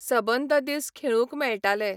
सबंद दीस खेळूंक मेळटाले.